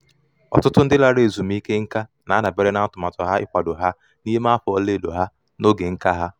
ọtụtụ ndị lara ezumike nká na-adabere na atụmatụ ha ịkwado ha n'ime afọ ọla edo ha na oge nka ha